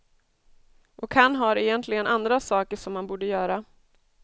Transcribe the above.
Och han har egentligen andra saker som han borde göra.